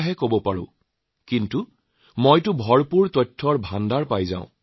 সেইবোৰৰ বহুত ধাৰণা একেই হয়